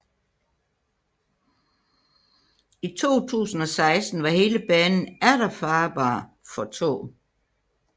I 2016 var hele banen atter farbar for tog